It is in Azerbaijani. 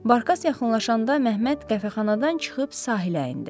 Barkas yaxınlaşanda Məhəmməd qəhvəxanadan çıxıb sahilə endi.